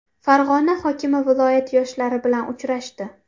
Farg‘ona hokimi viloyat yoshlari bilan uchrashdi.